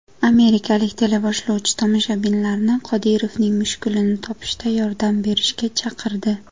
Amerikalik teleboshlovchi tomoshabinlarni Qodirovning mushugini topishda yordam berishga chaqirdi.